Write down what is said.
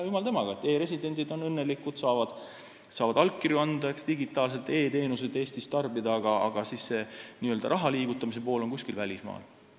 E-residendid on õnnelikud, saavad allkirju anda, digitaalselt e-teenuseid Eestis tarbida, aga n-ö raha liigutamise pool on kuskil välismaal.